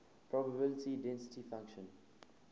probability density function